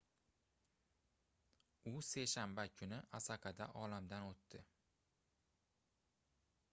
u seshanba kuni osakada olamdan oʻtdi